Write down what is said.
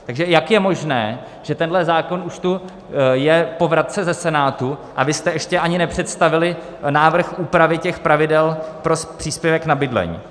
Takže jak je možné, že tenhle zákon už tu je po vratce ze Senátu, a vy jste ještě ani nepředstavili návrh úpravy těch pravidel pro příspěvek na bydlení?